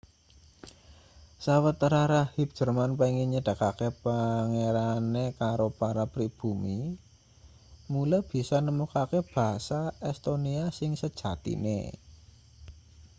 sawetara rahib jerman pengin nyedhakake pangerane karo para pribumi mula bisa nemokake basa estonia sing sejatine